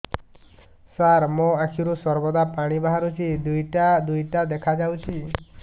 ସାର ମୋ ଆଖିରୁ ସର୍ବଦା ପାଣି ବାହାରୁଛି ଦୁଇଟା ଦୁଇଟା ଦେଖାଯାଉଛି